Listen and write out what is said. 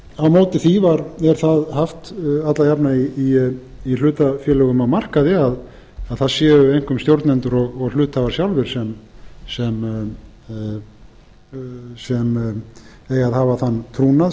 á móti því er það haft alla jafna í hlutafélögum á markaði að það séu einkum stjórnendur og hluthafar sjálfir sem eigi að hafa þann trúnað